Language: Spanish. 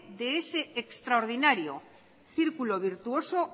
de ese extraordinario circulo virtuoso